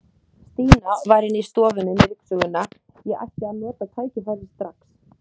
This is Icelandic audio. Stína var í innri stofunni með ryksuguna, ég ætti að nota tækifærið strax.